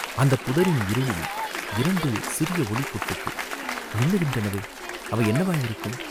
அந்தப் புதரின் இருளில் இரண்டு சிறிய ஒளிப் பொட்டுக்கள் மின்னுகின்றனவே, அவை என்னவாயிருக்கும்?